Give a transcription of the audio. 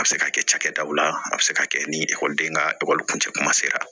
A bɛ se ka kɛ cakɛdaw la a bɛ se ka kɛ ni ekɔliden ka ekɔli kuncɛ kuma sera